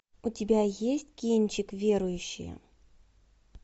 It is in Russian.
у тебя есть кинчик верующие